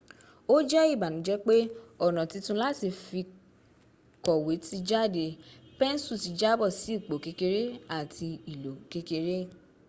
o je ibanuje pe ona titun lati fikowe ti jade pensu ti jabo si ipo kekere ati ilo kekere